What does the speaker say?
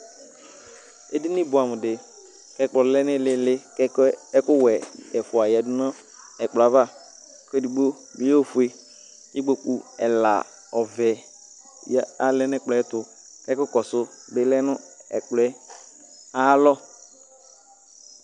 edini boɛ amo di k'ɛkplɔ lɛ n'ilili k'ɛkoɛ ɛkowɛ ɛfua yadu no ɛkplɔɛ ava k'edigbo lɛ ofue k'ikpoku ɛla ɔvɛ ya alɛ n'ɛkplɔɛ ayɛto k'ɛkò kɔsu bi lɛ no ɛkplɔɛ ayi alɔ